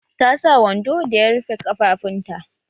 Ta sa wando da ya rufe ƙafafunta